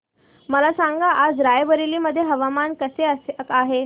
मला सांगा आज राय बरेली मध्ये हवामान कसे आहे